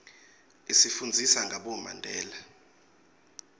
isifundzisa ngabomandela